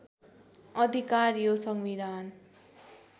अधिकार यो संविधान